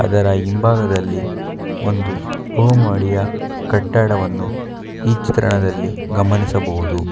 ಅದರ ಹಿಂಭಾಗದಲ್ಲಿ ಒಂದು ಕೋಮಡಿಯ ಕಟ್ಟಡವನ್ನು ಈ ಚಿತ್ರಣದಲ್ಲಿ ಗಮನಿಸಬಹುದು.